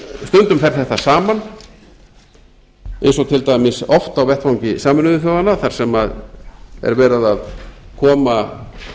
stundum fer þetta saman eins og til dæmis oft á vettvangi sameinuðu þjóðanna þar sem er verið að koma